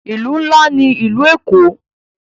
Ìlú ńlá ní ìlú Èkó.